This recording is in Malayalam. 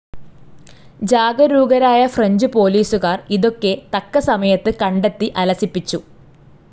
ജാഗരൂകരായ ഫ്രഞ്ച്‌ പോലീസുകാർ ഇതൊക്കെ തക്ക സമയത് കണ്ടെത്തി, അലസിപ്പിച്ചു,.